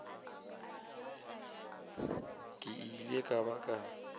ke ile ka ba ka